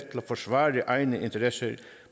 forsvare egne interesser